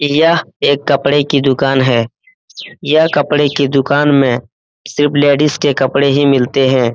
यह एक कपड़े की दूकान है यह कपड़े की दूकान में सिर्फ लेडिज के कपड़े ही मिलते है ।